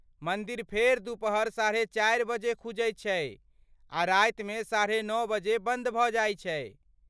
मन्दिर फेर दुपहर साढ़े चारि बजे खुजै छै आ रातिमे साढ़े नौ बजे बन्द भऽ जाइ छै।